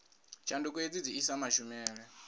tshanduko hedzi dzi isa mashumele